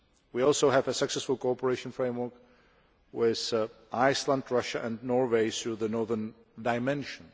We also have a successful cooperation framework with Iceland, Russia and Norway through the northern dimension.